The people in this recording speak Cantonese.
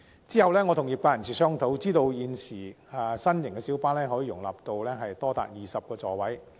其後，我與業界人士商討後知道，新型的小巴可以容納多達20個座位。